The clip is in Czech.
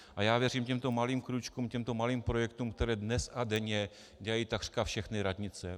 A já věřím těmto malým krůčkům, těmto malým projektům, které dnes a denně dělají takřka všechny radnice.